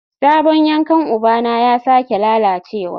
Sabon yankan ubana ya sake lalacewa